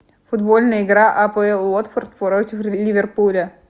футбольная игра апл уотфорд против ливерпуля